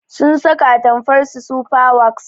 Sun saka atamfarsu sufa waks